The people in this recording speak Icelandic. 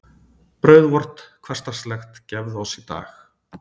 Brauð vort hversdagslegt gefðu oss í dag.